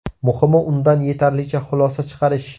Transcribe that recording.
Muhimi undan yetarlicha xulosa chiqarish.